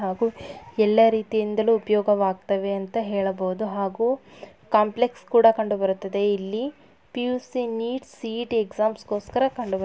ಹಾಗೂ ಎಲ್ಲಾ ರೀತಿಯಿಂದಲೂ ಉಪಯೋಗವಾಗ್ತ್ತವೆ ಅಂತ ಹೇಳಬೊಹುದು ಹಾಗೂ ಕಾಂಪ್ಲೆಕ್ಸ್ ಕೂಡ ಕಂಡು ಬರುತ್ತದೆ ಇಲ್ಲಿ. ಪಿ_ಯು_ಸಿ ನೀಟ್ ಸಿ_ಇ_ಟಿ ಎಕ್ಸಾಮ್ಸ್ ಗೋಸ್ಕರ ಕಂಡು ಬರುತ್ತದೆ.